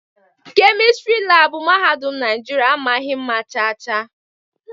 Kemịstịrị laabụ mahadum Naijiria amaghị mma chaa chaa.